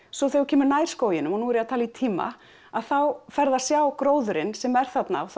svo þegar þú kemur nær skóginum og nú er ég að tala í tíma þá ferðu að sjá gróðurinn sem er þarna og